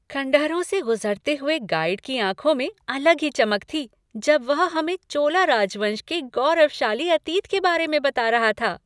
खंडहरों से गुज़रते हुए गाइड की आँखों में अलग ही चमक थी जब वह हमें चोला राजवंश के गौरवशाली अतीत के बारे में बता रहा था।